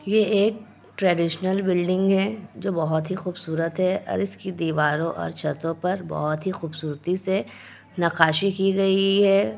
ये एक traditional building है जो बहुत ही खुबसूरत है और इसकी दिवारों और छतों पर बहुत ही खूबसूरती से नक्काशी की गयी है।